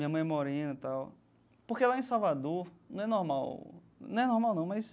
Minha mãe é morena e tal, porque lá em Salvador não é normal, não é normal não, mas